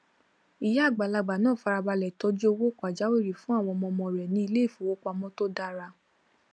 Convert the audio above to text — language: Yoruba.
ìyá àgbàlagbà náà farabalẹ tọjú owó pajáwìrì fún àwọn ọmọọmọ rẹ ní iléìfowópamọ tó dára